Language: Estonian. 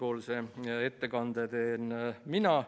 Otsustati, et komisjon ettekande teen mina.